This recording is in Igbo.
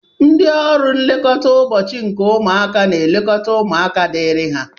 Ndị ọrụ nlekọta ụbọchị nke ụmụaka n'elekọta ụmụaka diri ha.